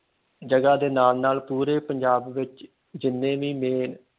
ਜਗ੍ਹਾ ਦੇ ਨਾਲ ਨਾਲ ਪੂਰੇ ਪੰਜਾਬ ਵਿਚ ਜਿੰਨੀ ਵੀ ਨੇ